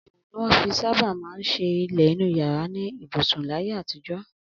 Amọ̀ ni wọ́n fi sábà ń ṣe ilẹ̀ inú yàrá ibùsùn láyé àtijọ́